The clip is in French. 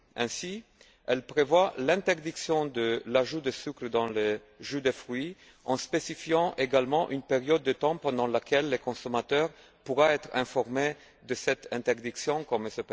Ainsi, elle prévoit l'interdiction de l'ajout de sucres dans les jus de fruits, en spécifiant également une période de temps pendant laquelle le consommateur pourra être informé de cette interdiction, comme M.